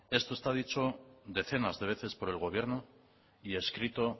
esto está dicho decenas de veces por el gobierno y escrito